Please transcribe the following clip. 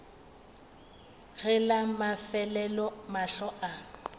ge la mafelelo mahlo a